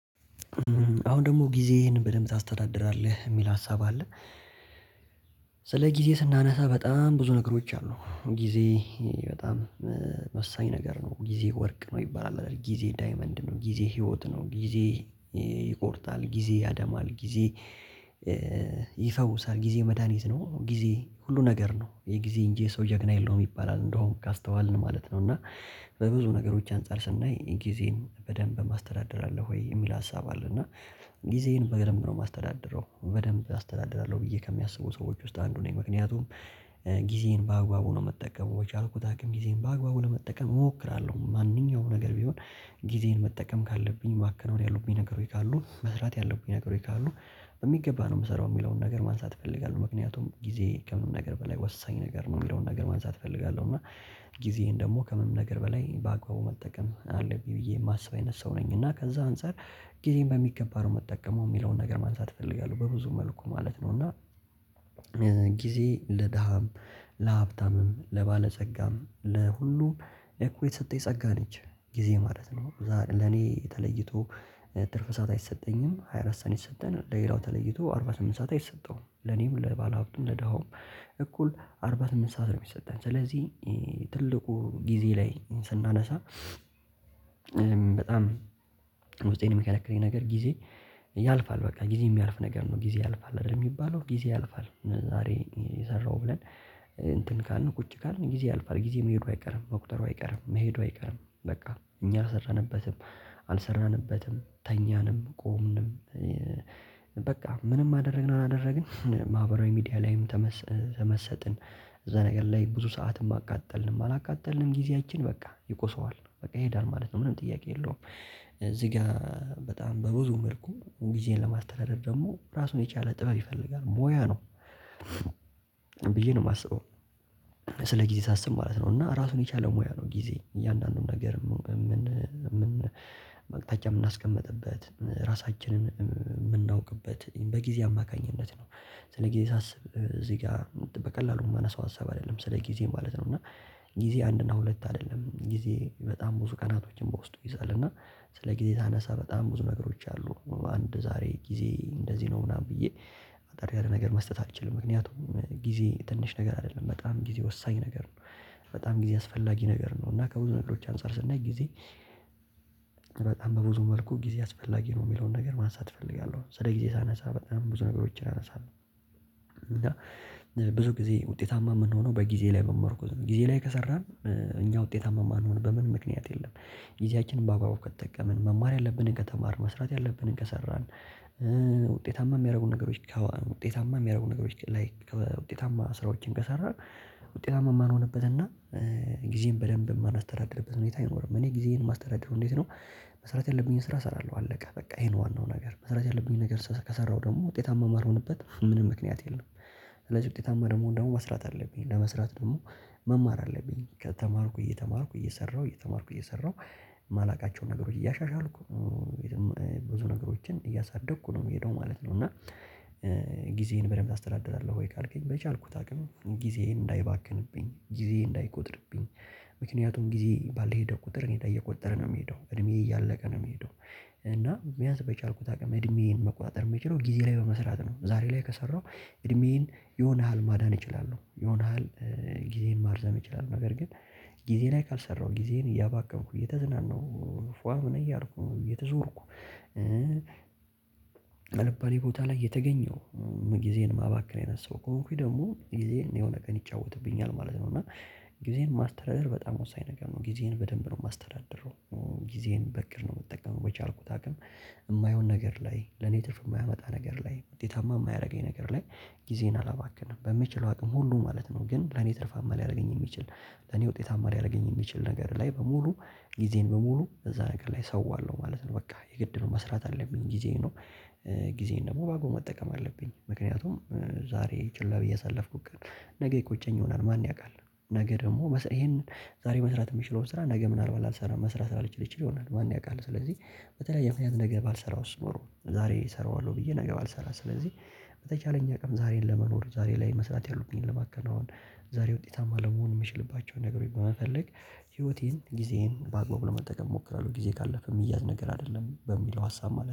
አሁን ደግሞ ጊዜህን በደንብ ታስተዳድራለህ እሚል ሀሳብ አለ። ጊዜ ስናነሳ በጣም ብዙ ነገሮች አሉ ጊዜ በጣም ወሳኝ ነገር ነው። ጊዜ ወርቅ ነው ይባላል ጊዜ ዳይመንድ ነው ጊዜ ህይወት ነው ጊዜ ይቆርጣል ጊዜ ያደማል ጊዜ ይፈውሳል ጊዜ መድሃኒት ነው። ጊዜ ሁሉ ነገር ነው የጊዜ እንጂ የሰው ጀግና የለውም ይባላል እንዲያውም ካስተዋልን ማለት ነው። እና በብዙ ነገሮች አንፃር ስናይ ጊዜን በደንብ ታስተዳድራለህ ወይ እሚል ሀሳብ አለ? እና ጊዜዬን በደንብ ነው እማስተዳድረው በደንብ አስተዳድራለሁ ብዬ ከሚያስቡ ሰዎች ውስጥ አንዱ ነኝ። ምክንያቱም ጊዜዬን በአግባቡ ነው እምጠቀመው በቻልኩት አቅም ጊዜዬን በአግባቡ ለመጠቀም እሞክራለሁ። ማንኛውም ነገር ቢሆን ጊዜን መጠቀም ካለብኝ ማከናወን ያሉብኝ ነገሮች ካሉ መስራት ያለብኝ ነገሮች ካሉ በሚገባ ነው እምሰራው እሚለውን ነገር ማንሳት እፈልጋለሁ። ምክንያቱም ጊዜ ከምንም ነገር በላይ ወሳኝ ነገር ነው እሚለውን ነገር ማንሳት እፈልጋለሁ። እና ጊዜህን ደግሞ ከምንም ነገር በላይ በአግባቡ መጠቀም አለብኝ ብዬ የማስብ አይነት ሰው ነኝ እና ከዛ አንፃር ጊዜዬን በሚገባ ነው እምጠቀመው እሚለውን ነገር ማንሳት እፈልጋለሁ በብዙ መልኩ ማለት ነው። እና ጊዜ ለደሃም ለሀብታምም ለባለጸጋም ለሁሉም እኩል የተሰጠች ጸጋ ነች ጊዜ ማለት ነው። ለኔ ተለይቶ ትርፍ ሰዓት አይሰጠኝም ሃያ አራት ሰዓት ነው የተሰጠን ለሌላው ተለይቶ አርባ ስምንት ሰዓት አይሰጠውም ለኔም ለባለሀብቱም ለደሃውም እኩል አርባ ስምንት ሰዓት ነው የሚሰጠን። ስለዚህ ትልቁ ጊዜ ላይ ስናነሳ በጣም ውስጤን የሚከነክነኝ ነገር ጊዜ ያልፋል በቃ ጊዜ እሚያልፍ ነገር ነው። ጊዜ ያልፋል አይደል እሚባለው ጊዜ ያልፋል። ዛሬ ሰራው ብለን እንትን ካልን ቁጭ ካልን ጊዜ ያልፋል ጊዜ መሄዱ አይቀርም መቁጠሩ አይቀርም መሄዱ አይቀርም። በቃ እኛ አልሰራንበትም አልሰራንበትም ተኛንም ቆምንም በቃ ምንም አደረግን አላደረግን ማህበራዊ ሚዲያ ላይም ተመሰጥን እዛ ነገር ላይ ብዙ ሰዓትም አቃጥልንም አላቃጥልንም ጊዜያችን በቃ ይቆሰዋል በቃ ይሄዳል ማለት ነው። ምንም ጥያቄ የለውም እዚህ ጋር በጣም በብዙ መልኩ ጊዜን ለማስተዳደር ደግሞ ራሱን የቻለ ጥበብ ይፈልጋል። ሙያ ነው ብዬ ነው እማስበው ስለ ጊዜ ሳስብ ማለት ነው እና ራሱን የቻለ ሙያ ነው። ጊዜ እያንዳንዱን ነገር ምን ምን አቅጣጫ እምናስቀምጥበት ራሳችንን እምናውቅበት በጊዜ አማካኝነት ነው ስለጊዜ ሳስብ እዚህ ጋር በቀላሉ እማነሳው ሀሳብ አይደለም ስለ ጊዜ ማለት ነው። እና ጊዜ አንድ እና ሁለት አይደለም ጊዜ በጣም ብዙ ቀናቶችን በውስጡ ይዛል እና ስለ ጊዜ ሳነሳ በጣም ብዙ ነገሮች አሉ አንድ ዛሬ ጊዜ እንደዚህ ነው ምናምን ብዬ አጠር ያለ ነገር መስጠት አልችልም። ምክንያቱም ጊዜ ትንሽ ነገር አይደለም በጣም ጊዜ ወሳኝ ነገር ነው በጣም ጊዜ አስፈላጊ ነገር ነው። እና ከብዙ ነገሮች አንፃር ስናይ ጊዜ በጣም በብዙ መልኩ ጊዜ አስፈላጊ ነው እሚለውን ነገር ማንሳት እፈልጋለሁ። ስለ ጊዜ ሳነሳ በጣም ብዙ ነገሮችን አነሳለሁ እና ብዙ ጊዜ ውጤታማ እምንሆነው በጊዜ ላይ በመመርኮዝ ነው ጊዜ ላይ ከሰራን እኛ ውጤታማ እማንሆንበት ምንም ምክንያት የለም። ጊዜያችንን በአግባቡ ከተጠቀምን መማር ያለብንን ከተማርን መስራት ያለብንን ከሰራን ውጤታማ እሚያደርጉ ነገሮች ውጤታማ እሚያደርጉ ነገሮች ላይ ከውጤታማ ስራዎችን ከሰራ ውጤታማ እማንሆንበት እና ጊዜዬን በደንብ እማናስተዳድርበት ሁኔታ አይኖርም። እኔ ጊዜዬን እማስተዳድረው እንዴት ነው መስራት ያለብኝን ስራ እሰራለሁ አለቀ በቃ ይሄ ነው ዋናው ነገር መስራት ያለብኝን ነገር ደግሞ ውጤታማ እማልሆንበት ምንም ምክንያት የለም። ስለዚህ ውጤታማ ለመሆን ደግሞ መስራት አለብኝ ለመስራት ደግሞ መማር አለብኝ ከተማርኩ እየተማርኩ እየሰራሁ እየተማርኩ እየሰራሁ እማላውቃቸውን ነገሮች እያሻሻልኩ ነው ብዙ ነገሮችን እያሳደግኩ ነው እምሄደው ማለት ነው። እና ጊዜህን በደንብ ታስተዳድላለህ ወይ ካልከኝ በቻልኩት አቅም ጊዜዬን እንዳይባክንብኝ ጊዜዬ እንዳይቆጥርብኝ ምክንያቱም ጊዜ ባልሄደው ቁጥር እየቆጠረ ነው። እሚሄደው እድሜዬ እያለቀ ነው እሚሄደው እና ቢያንስ በቻልኩት አቅም እድሜዬን መቆጣጠር እምችለው ጊዜ ላይ በመስራት ነው። ዛሬ ላይ ከሰራሁ እድሜዬን የሆነ ያህል ማዳን እችላለሁ የሆነ ያህል ጊዜን ማርዘም እችላለው። ነገር ግን ጊዜ ላይ ካልሰራሁ ጊዜዬን እያባከንኩ እየተዝናናው ፏ ምን እያልኩ እየተዞርኩ አለባሌ ቦታ ላይ እየተገኘው ጊዜን እማባከን አይነት ሰው ከሆንኩኝ ደግሞ ጊዜ የሆነ ቀን ይጫወትብኛል ማለት ነው። እና ጊዜን ማስተዳደር በጣም ወሳኝ ነገር ነው። ጊዜን በደንብ ነው እማስተዳደረው ጊዜን በእቅድ ነው እምጠቀመው በቻልኩት አቅም እማይሆን ነገር ላይ ለኔ ትርፍ እማያመጣ ነገር ላይ ውጤታማ እማያደርገኝ ነገር ላይ ጊዜን አላባክንም በምችለው አቅም ሁሉ ማለት ነው። ግን ለኔ ትርፋማ ሊያደርገኝ የሚችል ለኔ ውጤታማ ሊያደርገኝ የሚችል ነገር ላይ በሙሉ ጊዜን በሙሉ እዛ ነገር ላይ እሰውዋለሁ ማለት ነው። በቃ የግድ ነው መስራት አለብኝ ጊዜዬን ነው። ጊዜዬን ደግሞ በአግባቡ መጠቀም አለብኝ። ምክንያቱም ዛሬ ችላ ብየ ያሳለፍኩት ነገ ቁጭ ብኝ ይሆናል ማን ያውቃል? ነገ ደግሞ ይሄንን ዛሬ መስራት የምችለውን ስራ ነገ ምን አልባል አልሰራም መስራት ላልችል ይችል ይሆናል ማን ያውቃል? ስለዚህ በተለይ የምንያት ነገ ባልሰራው ኖሮ ዛሬ እሰራዋለሁ ብዬ ነገ ባልሰራ ስለዚህ በተቻለኝ አቅም ዛሬን ለመኖር ዛሬ ላይ መስራት ያሉብኝን ለማከናወን ዛሬ ውጤታማ ለመሆን እምችልባቸውን ነገሮች በመፈለግ ህይወቴን ጊዜዬን በአግባቡ ለመጠቀም እሞክራለሁ። ጊዜ ካለፈ የሚያዝ ነገር አይደለም በሚለው ሀሳብ ማለት ነው